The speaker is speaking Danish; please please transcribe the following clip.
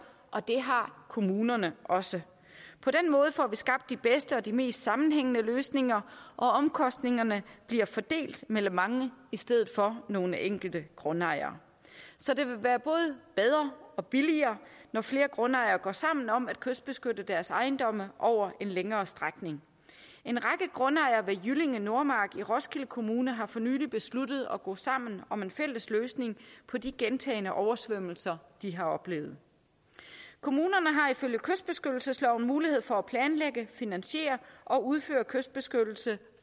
og det har kommunerne også på den måde får vi skabt de bedste og de mest sammenhængende løsninger og omkostningerne bliver fordelt mellem mange i stedet for nogle enkelte grundejere så det vil være både bedre og billigere når flere grundejere går sammen om at kystbeskytte deres ejendomme over en længere strækning en række grundejere ved jyllinge nordmark i roskilde kommune har for nylig besluttet at gå sammen om en fælles løsning på de gentagne oversvømmelser de har oplevet kommunerne har ifølge kystbeskyttelsesloven mulighed for at planlægge finansiere og udføre kystbeskyttelse